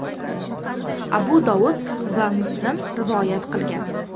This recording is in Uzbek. Abu Dovud va Muslim rivoyat qilgan.